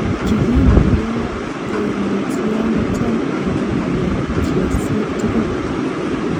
Kigindie koimutioniton en iyotosiek tugul.